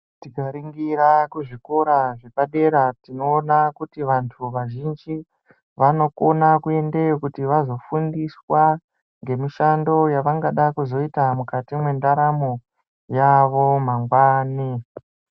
Tikaringira kuzvikora zvepadera tinoona kuti vantu vazhinji vanokona kuendeyo kuti vazofundiswa ngemishando yavangada kuzoita mukati mendaramo yavo mangwani.